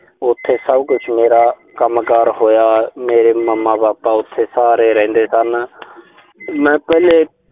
ਉਥੇ ਸਭ ਕੁਸ਼ ਮੇਰਾ ਕੰਮਕਾਰ ਹੋਇਆ। ਮੇਰੇ mama, papa ਉਥੇ ਸਾਰੇ ਰਹਿੰਦੇ ਸਨ। ਮੈਂ ਪਹਿਲੇ